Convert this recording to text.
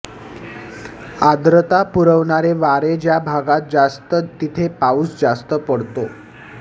आर्द्रता पुरवणारे वारे ज्या भागात जास्त तिथे पाऊस जास्त पडतो